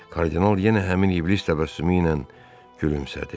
Kardinal yenə həmin iblis təbəssümü ilə gülümsədi.